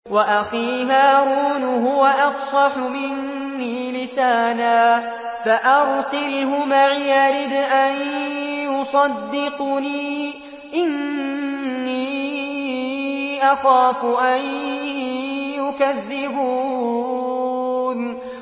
وَأَخِي هَارُونُ هُوَ أَفْصَحُ مِنِّي لِسَانًا فَأَرْسِلْهُ مَعِيَ رِدْءًا يُصَدِّقُنِي ۖ إِنِّي أَخَافُ أَن يُكَذِّبُونِ